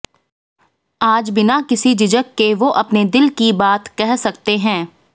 आज बिना किसी झिझक के वो अपने दिल की बात कह सकते हैं